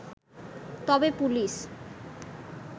তবে পুলিশ